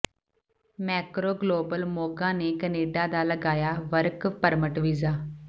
Macro Global Moga ਨੇ Canada ਦਾ ਲਗਾਇਆ ਵਰਕ ਪਰਮਿਟ ਵੀਜ਼ਾ